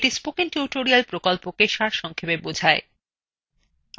এটি কথ্য tutorial প্রকল্পকে সারসংক্ষেপে বোঝায়